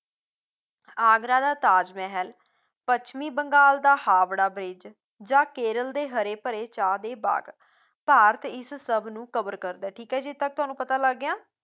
ਆਗਰਾ ਦਾ ਤਾਜ ਮਹਿਲ ਪੱਛਮੀ ਬੰਗਾਲ ਦਾ ਹਾਬੜਾ ਬ੍ਰਿਜ ਜਾਂ ਕੇਰਲ ਦੇ ਹਰੇ ਭਰੇ ਚਾਹ ਦੇ ਬਾਗ, ਭਾਰਤ ਇਸ ਸਭ ਨੂੰ cover ਕਰਦਾ ਹੈ ਠੀਕ ਹੈ ਜੀ ਇੱਥੇ ਤੱਕ ਤੁਹਾਨੂੰ ਪਤਾ ਲੱਗ ਗਿਆ